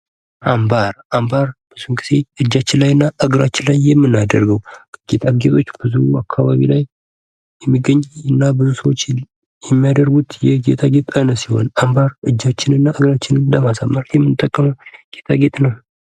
አምባር :- አምባር ብዙ ጊዜ እጃች እና እግራችን ላይ የምናደርገዉ ጌጣጌጦች ብዙ አካባቢ ላይ የሚገኝ እና ብዙ ሰዉ የሚያደርገዉ ብዙ ሰዉ ለማሳመር የምናደርገዉ ጌጣጌጥ ነዉ።